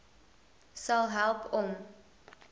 sal help om